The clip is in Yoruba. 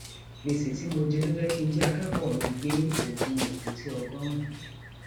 gbèsè tí mo jẹ ló jẹ kí n jí akẹkọọ mi gbé oògùn èkúté ọgọrùn